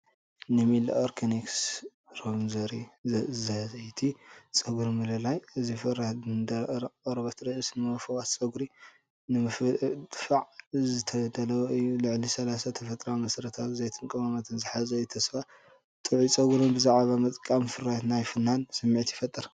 ንሚለ ኦርጋኒክስ ሮዝመሪ ዘይቲ ጸጉሪ ምልላይ፣ እዚ ፍርያት ንደረቕ ቆርበት ርእሲ ንምፍዋስ፡ ጸጉሪ ንምድንፋዕን ዝተዳለወ እዩ። ልዕሊ 30 ተፈጥሮኣዊ መሰረታዊ ዘይትን ቀመማትን ዝሓዘ እዩ። ተስፋ ጥዑይ ጸጉርን ብዛዕባ ምጥቃም እቲ ፍርያት ናይ ፍናን ስምዒትን ይፈጥር።